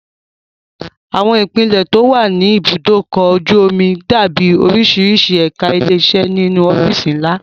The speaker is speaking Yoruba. Àwọn ipele tó wà ní ibùdó ọkọ̀ ojú omi dàbí oríṣiríṣi ẹ̀ka ilé iṣẹ́ nínú ọ́fíìsì ńlá